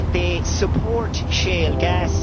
They support shale gas.